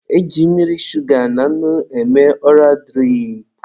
E ji mmiri, shuga na nnu eme ọra dirip.